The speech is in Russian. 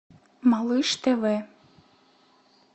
малыш тв